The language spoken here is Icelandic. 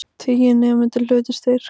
Tíu nemendur hlutu styrk